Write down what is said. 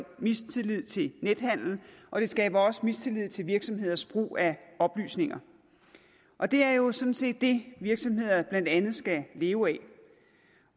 mistillid til nethandel og det skaber også mistillid til virksomheders brug af oplysninger og det er jo sådan set det virksomheder blandt andet skal leve af